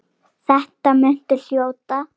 Þetta muntu hljóta.